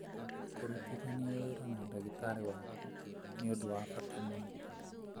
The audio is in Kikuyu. Kũrutithania wĩra na ndagĩtarĩ waaku nĩ ũndũ wa bata mũno.